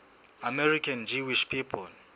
american jewish people